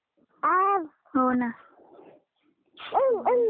हो, ना.